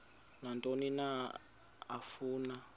nantoni na afuna